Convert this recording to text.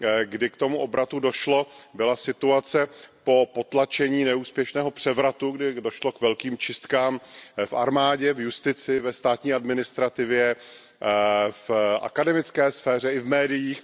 kdy k tomu obratu došlo, byla situace po potlačení neúspěšného převratu, kdy došlo k velkým čistkám v armádě, v justici, ve státní administrativě, v akademické sféře i v médiích.